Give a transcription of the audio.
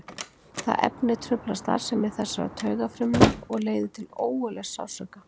Það efni truflar starfsemi þessara taugafrumna og leiðir til ógurlegs sársauka.